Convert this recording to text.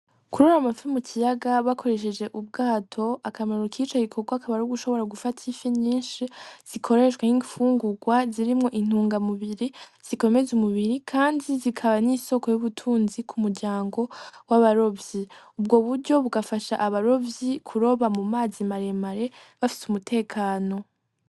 Kuroba amafi mukiyaga bakoresheje ubwato akamaro kico gikorwa akaba ari ugushobora gufata ifi nyinshi zikoreshwe nkifungurwa ririmwo intungamubiri zikomeza umubiri kandi zikaba nisooko ry'ubutunzi kumuryango w'abarovyi , ubwo buryo bugafasha abarovyi kuroba mu mazi maremare bafise umutekano.